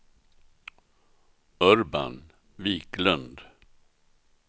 Urban Viklund